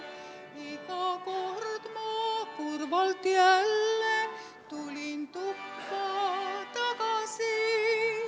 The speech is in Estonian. Iga kord ma kurvalt jälle tulin tuppa tagasi.